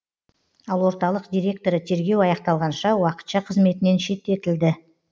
ал орталық директоры тергеу аяқталғанша уақытша қызметінен шеттетілді